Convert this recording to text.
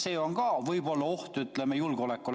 See on ka võib-olla oht julgeolekule.